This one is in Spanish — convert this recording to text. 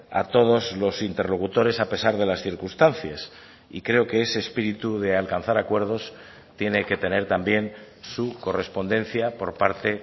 a todos los interlocutores a pesar de las circunstancias y creo que ese espíritu de alcanzar acuerdos tiene que tener también su correspondencia por parte